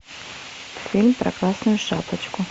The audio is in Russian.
фильм про красную шапочку